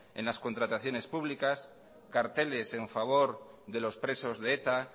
en las contrataciones públicas carteles a favor de los presos de eta